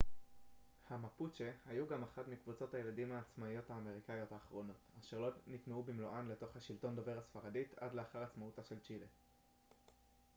המפוצ'ה mapuche היו גם אחת מקבוצות הילידים העצמאיות האמריקאיות האחרונות אשר לא נטמעו במלואן לתוך השלטון דובר הספרדית עד לאחר עצמאותה של צ'ילה